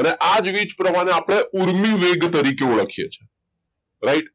અને આ જ વીજ પ્રવાહને આપણે ઊર્મિ વેગ તરીકે ઓળખે છે right